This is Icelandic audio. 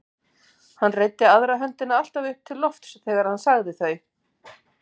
Hann reiddi aðra höndina alltaf upp til lofts þegar hann sagði þau.